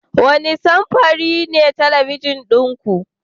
Wane samfuri ne talabijin ɗin ku?